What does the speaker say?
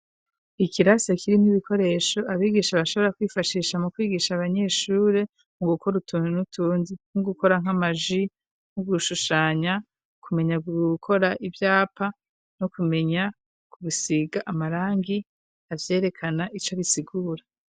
Ikiraso kirimwo ibikoresho abigisha bashobora kwifashisha mu kwigisha abanyeshure mu gukora utuntu n'utundi nkogukora nk'amaji, nko gushushanya kumenya gukora ivyapa no kumenya ku bisiga amarangi avyerekana ico bisigura.